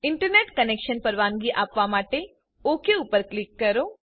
internet connection પરવાનગી આપવા માટે ઓક પર ક્લિક કરો